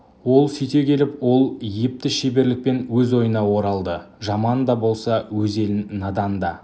ол сөйте келіп ол епті шеберлікпен өз ойына оралды жаман да болса өз елі надан да